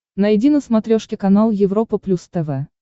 найди на смотрешке канал европа плюс тв